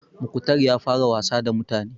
Mukhtar ya fara wasa da mutane.